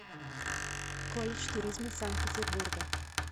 колледж туризма санкт петербурга